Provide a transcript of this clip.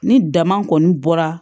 Ni dama kɔni bɔra